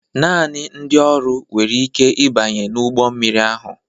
Naanị ndị ọrụ nwere ike ịbanye n'ụgbọ mmiri ahụ.